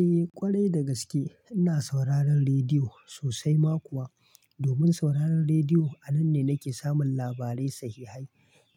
Eh ƙwarai dagaske ina sauraron rediyo sosai ma kuwa. Domin sauraron rediyo a nan ne nake samun labarai sahihahi.